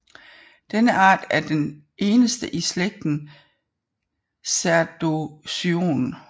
Denne art er den eneste i slægten Cerdocyon